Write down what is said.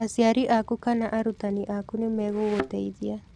Aciari aku kana arutani aku nĩ megũgũteithia.